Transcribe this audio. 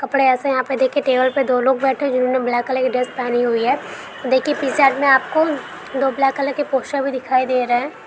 कपड़े ऐसे हैं यहाँ पे देखिए टेबल पे दो लोग बैठे जिन्होंने ब्लैक कलर की ड्रेस पहनी हुई है। देखिए पीछे से आपको दो ब्लैक कलर के पोस्टर भी दिखाई दे रहे --